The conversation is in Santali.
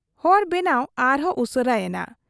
ᱦᱚᱨ ᱵᱮᱱᱟᱣ ᱟᱨᱦᱚᱸ ᱩᱥᱟᱹᱨᱟ ᱮᱱᱟ ᱾